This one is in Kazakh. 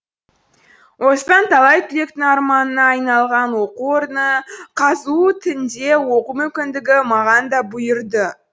осындай талай түлектің арманына айналған оқу орны қазұу тінде оқу мүмкіндігі маған да бұйырды